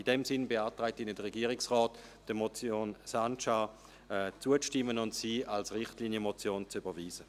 In diesem Sinn beantragt Ihnen der Regierungsrat, der Motion Sancar zuzustimmen und sie als Richtlinienmotion zu überweisen.